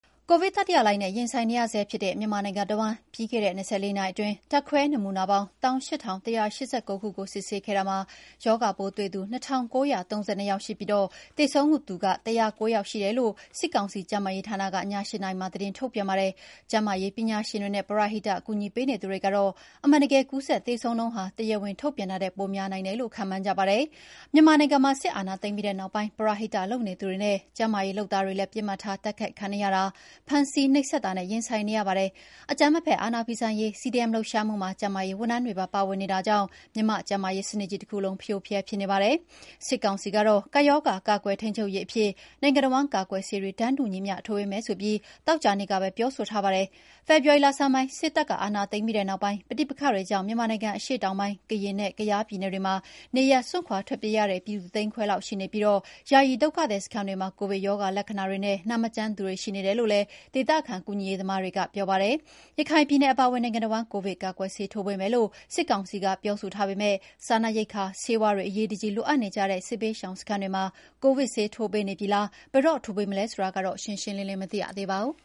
ကိုဗစ်တတိယလှိုင်းနဲ့ ရင်ဆိုင်နေရဆဲဖြစ်တဲ့ မြန်မာနိုင်ငံတဝန်း ပြီးခဲ့တဲ့ ၂၄ နာရီအတွင်း ဓာတ်ခွဲနမူနာပေါင်း ၁၈,၁၈၉ ခုကို စစ်ဆေးခဲ့တာမှာ ရောဂါပိုးတွေ့သူ ၂,၉၃၂ ယောက်ရှိပြီး သေဆုံးသူ (၁၀၉ ) ယောက်ရှိတယ်လို့ စစ်ကောင်စီ ကျန်းမာရေးဌာနက ည ၈ နာရီမှာ သတင်းထုတ်ပြန်ပါတယ်။ ကျန်းမာရေးပညာရှင်တွေနဲ့ ပရဟိတ ကူညီပေးနေသူတွေကတော့ အမှန်တကယ် ကူးစက်သေဆုံးနှုန်းဟာ တရားဝင်ထုတ်ပြန်တာထက် ပိုများနိုင်တယ်လို့ ခန့်မှန်းကြပါတယ်။ မြန်မာနိုင်ငံမှာ စစ်အာဏာသိမ်းပြီးနောက်ပိုင်း ပရဟိတလုပ်နေသူတွေနဲ့ ကျန်းမာရေးလုပ်သားတွေလည်း ပစ်မှတ်ထား တိုက်ခိုက်ခံနေရတာ၊ ဖမ်းဆီးနှိပ်စက်တာနဲ့ ရင်ဆိုင်နေရပါတယ်။အကြမ်းမဖက်အ ာဏာဖီဆန်ရေး CDM လှုပ်ရှားမှုမှာ ကျန်းမာရေးဝန်ထမ်းတွေပါ ပါဝင်နေတာကြောင့်လည်း မြန်မာ့ကျန်းမာရေးစနစ်ကြီးတခုလုံး ဖရိုဖရဲဖြစ်နေပါတယ်။ စစ်ကောင်စီကတော့ ကပ်ရောဂါကာကွယ်ထိန်းချုပ်ရေးအဖြစ် နိုင်ငံတဝန်း ကာကွယ်ဆေးတွေ တန်းတူညီမ ျှ ထိုးပေးမယ်ဆိုပြီး သောကြာနေ့ကပဲ ပြောဆိုထားပါတယ်။ ဖေဖော်ဝါရီလဆန်းပိုင်း စစ်တပ်ကအာဏာသိ်မ်းပြီးနောက်ပိုင်း ပဋိပက္ခတွေကြောင့် မြန်မာနိုင်ငံ အရှေ့တောင်ပိုင်း၊ ကရင်နဲ့ ကယားပြည်နယ်တွေမှာ နေရပ်စွန့်ခွါထွက်ပြေးနေရတဲ့ ပြည်သူ ၁ သိန်းခွဲလောက်ရှိနေပြီး ယာယီဒုက္ခသည်စခန်းတွေမှာ ကိုဗစ်ရောဂါလက္ခဏာတွေနဲ့နာမကျန်းသူတွေရှိနေတယ်လို့လည်း ဒေသခံကူညီရေးသမားတွေကပြောပါတယ်။ ရခိုင်ပြည်နယ်အပါအဝင် နိုင်ငံတဝန်း ကိုဗစ်ကာကွယ်ဆေးထိုးပေးမယ်လို့ စစ်ကောင်စီက ပြောဆိုထားပေမယ့် စားနပ်ရိက္ခာ၊ ဆေးဝါးတွေ အရေးတကြီးလိုအပ်နေကြတဲ့ စစ်ဘေးရှောင်စခန်းတွေမှာ ကိုဗစ် ဆေးထိုးပေးနေပြီလား၊ ဘယ်တော့ ထိုးပေးမလဲ ဆိုတာကတော့ ရှင်းရှင်းလင်းလင်းမသိရသေးပါဘူး